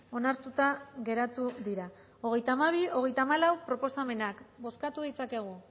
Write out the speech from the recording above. onartuta geratu dira hogeita hamabi hogeita hamalau proposamenak bozkatu ditzakegu